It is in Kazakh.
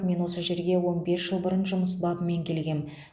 мен осы жерге он бес жыл бұрын жұмыс бабымен келгем